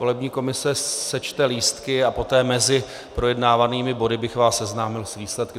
Volební komise sečte lístky a poté mezi projednávanými body bych vás seznámil s výsledky.